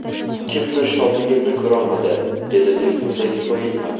Kimdir shodligimni ko‘rolmadi”, dedi Dilfuza Ismoilova.